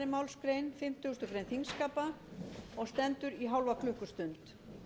málsgrein fimmtugustu grein þingskapa og stendur í hálfa klukkustund